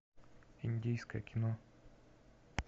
индийское кино